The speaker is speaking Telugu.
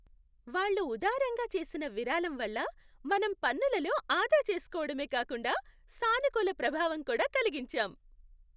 వాళ్ళు ఉదారంగా చేసిన విరాళం వల్ల మనం పన్నులలో ఆదా చేస్కోవడమే కాకుండా సానుకూల ప్రభావం కూడా కలిగించాం!